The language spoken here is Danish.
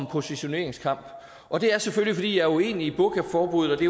positioneringskamp og det er selvfølgelig fordi jeg er uenig i burkaforbuddet og det